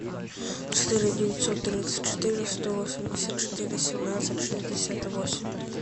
четыре девятьсот тридцать четыре сто восемьдесят четыре семнадцать шестьдесят восемь